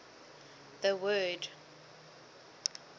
the word